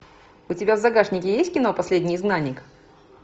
у тебя в загашнике есть кино последний изгнанник